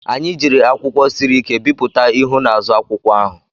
Anyị jiri akwụkwọ siri ike bipụta ihu na azụ akwụkwọ ahụ.